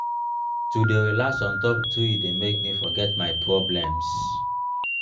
to dey relax on top tree dey make me forget my problems.